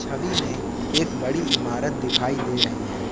छवि मैं एक बड़ी इमारत दिखाई दे रही है।